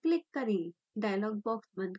dialog box बंद करें